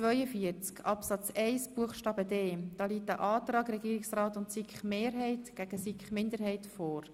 Hier liegen ein Antrag Regierungsrat und SiK sowie ein Antrag Grüne vor.